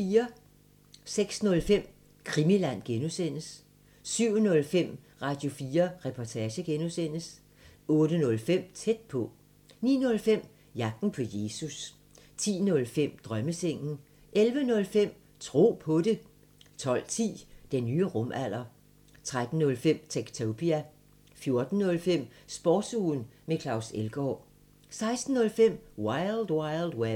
06:05: Krimiland (G) 07:05: Radio4 Reportage (G) 08:05: Tæt på 09:05: Jagten på Jesus 10:05: Drømmesengen 11:05: Tro på det 12:10: Den nye rumalder 13:05: Techtopia 14:05: Sportsugen med Claus Elgaard 16:05: Wild Wild Web